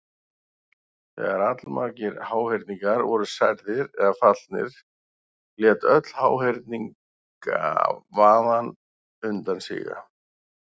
Þegar allmargir háhyrningar voru særðir eða fallnir lét öll háhyrningavaðan undan síga.